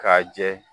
K'a jɛ